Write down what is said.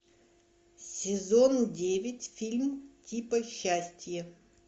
сезон девять фильм типа счастье